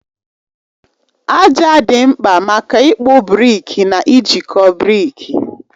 Aja dị mkpa maka ịkpụ brikị na ijikọ brikị.